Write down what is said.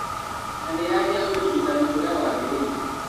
Na nĩyagĩa ũrigitani ũrĩa wagĩrĩire